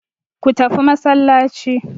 Go to mosque.